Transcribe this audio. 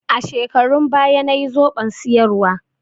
A shekarun baya nayi zoɓon soyarwa.